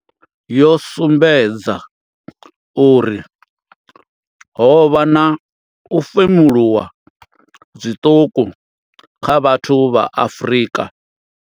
Yo sumbedza uri ho vha na u femuluwa zwiṱuku kha vhathu vha Afrika.